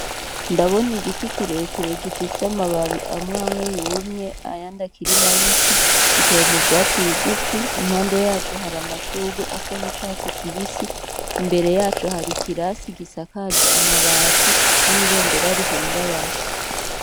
Ndabona igiti kirekire gifise amababi amwamwe yumye ayandi akiri mabisi giteye mu vyatsi bigufi impande yaco hari amashurwe asa n'icatsi kibisi imbere yaco hari ikirasi gisakaje mabati n'ibendera rihungabana.